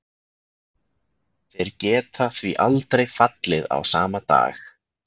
Þeir geta því aldrei fallið á sama dag.